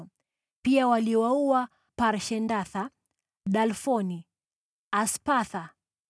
Pia waliwaua Parshendatha, Dalfoni, Aspatha,